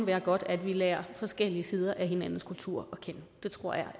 være godt at vi lærer forskellige sider af hinandens kulturer